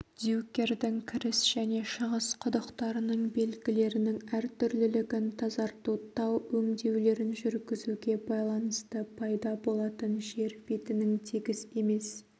дюкердің кіріс және шығыс құдықтарының белгілерінің әртүрлілігін тазарту тау өңдеулерін жүргізуге байланысты пайда болатын жер бетінің тегіс емес